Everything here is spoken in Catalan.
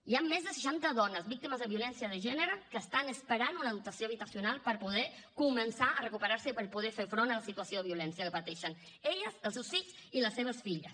hi ha més de seixanta dones víctimes de violència de gènere que estan esperant una dotació habitacional per poder començar a recuperar se i per poder fer front a la situació de violència que pateixen elles els seus fills i les seves filles